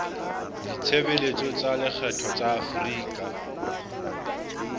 ditshebeletso tsa lekgetho tsa afrika